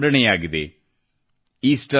Easter ಹಬ್ಬ ಆಶಯಗಳ ಪುನರುತ್ಥಾನವನ್ನು ಸಂಕೇತಿಸುತ್ತದೆ